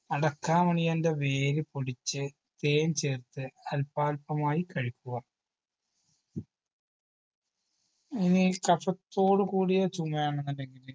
അടക്കാമണിയൻറെ വേര് പൊടിച്ച് തേൻ ചേർത്ത് അൽപാൽപമായി കഴിക്കുക ഇനി കഫത്തോട് കൂടിയ ചുമയാണെന്നുണ്ടെങ്കില്